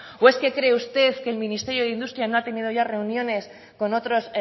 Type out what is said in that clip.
o es que cree usted que el ministerio de industria no ha tenido ya reuniones con otras